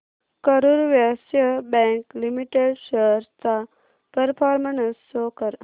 Karur Vysya bank limited shares चा performance show कर